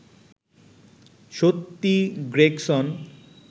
সত্যি গ্রেগসন